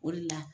O de la